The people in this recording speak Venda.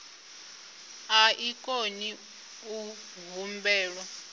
a i koni u humbelwa